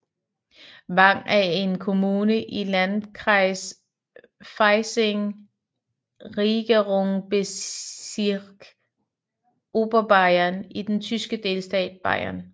Wang er en kommune i Landkreis Freising Regierungsbezirk Oberbayern i den tyske delstat Bayern